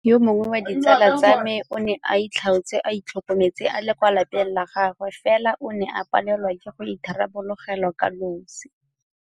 Yo mongwe wa ditsala tsa me o ne a itlhaotse a itlhokometse a le kwa lapeng la gagwe fela o ne a palelwa ke go itharabologelwa kanosi.